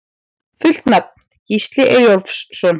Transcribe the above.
Fullt nafn: Gísli Eyjólfsson